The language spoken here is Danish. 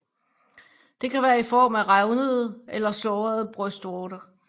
Det kan være i form af revnede eller sårede brystvorter